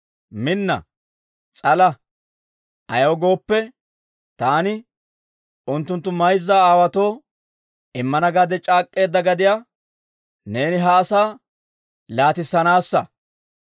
Minna; s'ala! Ayaw gooppe, taani unttunttu mayza aawaatoo immana gaade c'aak'k'eedda gadiyaa neeni ha asaa laatissanaassa.